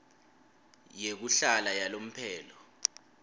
yekuhlala yalomphelo